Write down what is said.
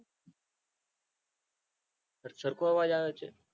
સરખો આવે છે.